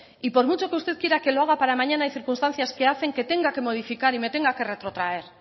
y por mucho que usted quiera que lo haga para mañana hay circunstancias que hacen que tenga que modificar y me tenga que retrotraer